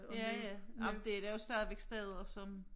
Ja ja ej men det der jo stadigvæk steder som